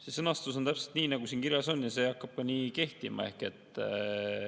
See sõnastus on täpselt nii, nagu siin kirjas on, ja see hakkab ka nii kehtima.